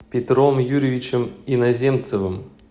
петром юрьевичем иноземцевым